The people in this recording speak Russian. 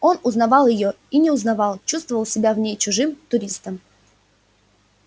он узнавал её и не узнавал чувствовал себя в ней чужим туристом